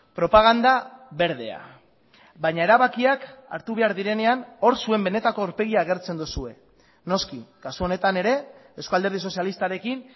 propaganda berdea baina erabakiak hartu behar direnean hor zuen benetako aurpegia agertzen duzue noski kasu honetan ere eusko alderdi sozialistarekin